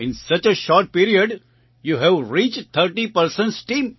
in such a short period you have reached 30 persons